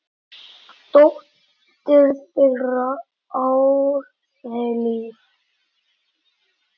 Dóttir þeirra: Ármey Líf.